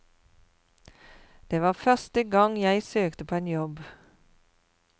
Det var første gang jeg søkte på en jobb.